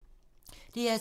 DR2